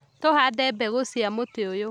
Tũhande mbegũcia mũtĩ ũyũ